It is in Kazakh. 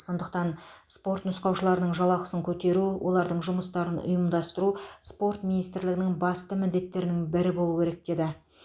сондықтан спорт нұсқаушыларының жалақысын көтеру олардың жұмыстарын ұйымдастыру спорт министрлігінің басты міндеттерінің бірі болу керек деді